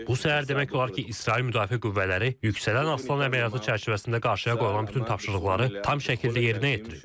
Bu səhər demək olar ki, İsrail müdafiə qüvvələri yüksələn aslan əməliyyatı çərçivəsində qarşıya qoyulan bütün tapşırıqları tam şəkildə yerinə yetirib.